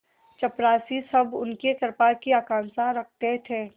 चपरासीसब उनकी कृपा की आकांक्षा रखते थे